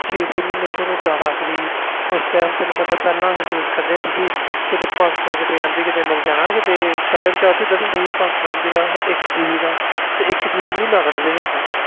ਛੇ ਛੇ ਮਹੀਨੇ ਤੁਹਾਨੂੰ data free ਉਸ time ਪਹਿਲੇ ਅਸੀਂ use ਕਰਦੇ ਹੁੰਦੇ ਸੀ ਕੀਤੇ ਪੰਜ ਸੌ MB ਮਿਲ ਜਾਣਾ ਕੀਤੇ ਪਹਿਲਾ recharge ਹੁੰਦੇ ਸੀ ਇਕ GB ਦਾ ਤੇ ਇਕ ਮਹੀਨਾ ਕੱਢ ਦੇ ਅਸੀਂ